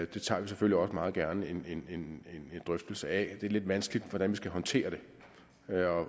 det tager vi selvfølgelig også meget gerne en drøftelse af det er lidt vanskeligt at hvordan vi skal håndtere det